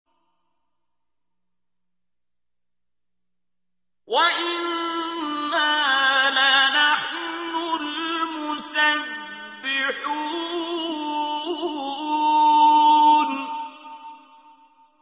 وَإِنَّا لَنَحْنُ الْمُسَبِّحُونَ